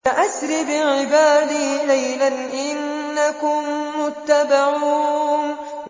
فَأَسْرِ بِعِبَادِي لَيْلًا إِنَّكُم مُّتَّبَعُونَ